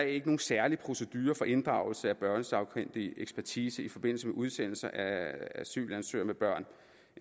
ikke nogen særlig procedure for inddragelse af børnesagkyndig ekspertise i forbindelse med udsendelse af asylansøgere med børn